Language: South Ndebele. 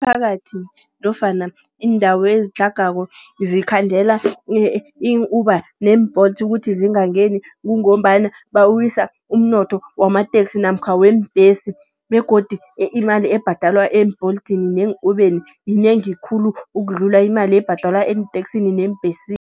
Imiphakathi nofana iindawo ezitlhagako zikhandela i-Uber ne-Bolt ukuthi zingangeni. Kungombana bawisa umnotho wamateksi namkha weembhesi. Begodu imali ebhadalwa eembolithini ne-ubheni yinengi khulu, ukudlula imali ebhadalwa eenteksini neembhesi.